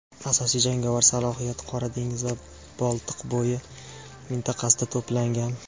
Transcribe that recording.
asosiy jangovar salohiyat Qora dengiz va Boltiqbo‘yi mintaqasida to‘plangan.